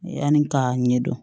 Yanni k'a ɲɛdɔn